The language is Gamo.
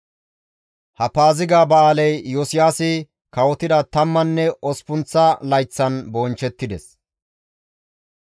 Ha Paaziga ba7aaley Iyosiyaasi kawotida tammanne osppunththa layththan bonchchettides.